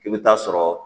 I bɛ taa sɔrɔ